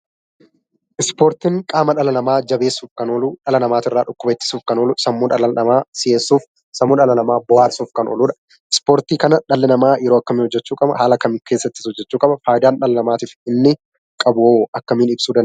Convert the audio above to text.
Ispoortiin qaama dhala namaa jabeessuuf kan oolu; dhala namaa irraa dhukkuba ittisuuf kan oolu; sammuu dhala namaa si'eessuu fi bohaarsuuf kan ooludha. Ispoortii kana dhalli namaa yeroo akkamii hojjechuu qaba? Haala kam keessattis hojjechuu qaba? Faayidaa inni dhala namaatiif qabu akkamiin ibsuu dandeenya?